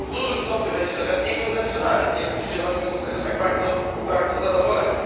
W dużym stopniu będzie to gaz niekonwencjonalny nie wiem, czy Zieloni będą z tego tak bardzo, bardzo zadowoleni.